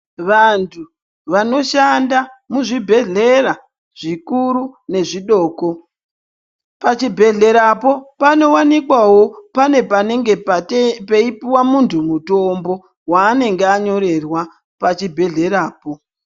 Vandu vanoshanda muzvibhedhlera zvikuru nezvidoko pachibhedle rapo panowanikawo pane panenge peipuwa mundu mutombo waanenge anyorerwa pachibhedhle rapo .